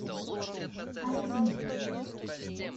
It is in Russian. ализи